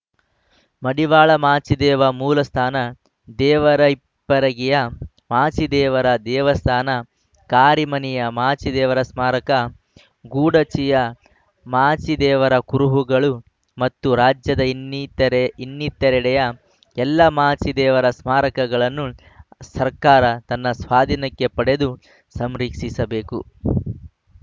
ಮಡಿವಾಳ ಮಾಚಿದೇವ ಮೂಲಸ್ಥಾನ ದೇವರಹಿಪ್ಪರಗಿಯ ಮಾಚಿದೇವರ ದೇವಸ್ಥಾನ ಕಾರಿಮನೆಯ ಮಾಚಿದೇವರ ಸ್ಮಾರಕ ಗೊಡಚಿಯ ಮಾಚಿದೇವರ ಕುರುಹುಗಳು ಮತ್ತು ರಾಜ್ಯದ ಇನ್ನಿತೆರೆ ಇನ್ನಿತೆರೆಡೆಯ ಎಲ್ಲ ಮಾಚಿದೇವರ ಸ್ಮಾರಕಗಳನ್ನು ಸರ್ಕಾರ ತನ್ನ ಸ್ವಾಧೀನಕ್ಕೆ ಪಡೆದು ಸಂರಿಕ್ಷಿಸಬೇಕು